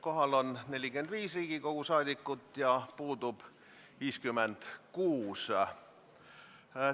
Kohal on 45 Riigikogu liiget ja puudub 56.